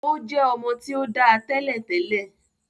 O jẹ ọmọ ti o dá tẹ́lẹ̀tẹ́lẹ̀.